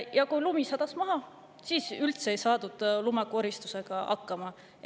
Ja kui lumi maha sadas, siis ei saadud lumekoristusega hakkama.